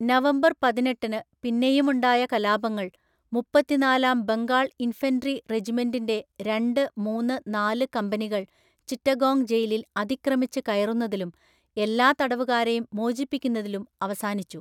November പതിനെട്ടിന് പിന്നെയുമുണ്ടായ കലാപങ്ങൾ മുപ്പത്തിനാലാം ബംഗാൾ ഇൻഫൻട്രി റെജിമെൻ്റിൻ്റെ രണ്ട്, മൂന്ന് , നാല് കമ്പനികൾ ചിറ്റഗോംഗ് ജയിലിൽ അതിക്രമിച്ച് കയറുന്നതിലും എല്ലാ തടവുകാരെയും മോചിപ്പിക്കുന്നതിലും അവസാനിച്ചു.